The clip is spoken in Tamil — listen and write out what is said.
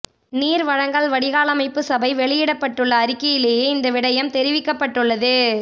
நீர் வழங்கல் வடிகாலமைப்பு சபை வெளியிட்டுள்ள அறிக்கையிலேயே இந்த விடயம் தெரிவிக்கப்பட்டுள்ளது